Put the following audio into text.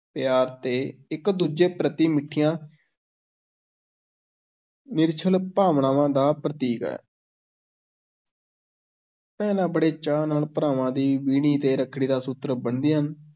ਪਿਆਰ ਤੇ ਇੱਕ-ਦੂਜੇ ਪ੍ਰਤਿ ਮਿੱਠੀਆਂ ਨਿਰਛਲ ਭਾਵਨਾਵਾਂ ਦਾ ਪ੍ਰਤੀਕ ਹੈ ਭੈਣਾਂ ਬੜੇ ਚਾਅ ਨਾਲ ਭਰਾਵਾਂ ਦੀ ਵੀਣੀ ਤੇ ਰੱਖੜੀ ਦਾ ਸੂਤਰ ਬੰਨ੍ਹਦੀਆਂ ਹਨ।